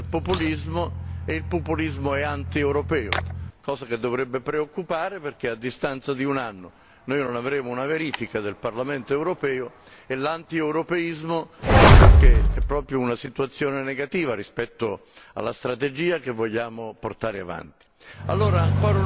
c'è stata una crescita del populismo e il populismo è antieuropeo, cosa che dovrebbe preoccupare perché a distanza di un anno noi non avremo una verifica del Parlamento europeo e l'antieuropeismo credo sia proprio una situazione negativa rispetto alla strategia che vogliamo portare avanti.